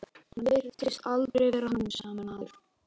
Hann virtist aldrei vera hamingjusamur maður.